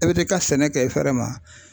E be t'i ka sɛnɛ kɛ fɛɛrɛ ma.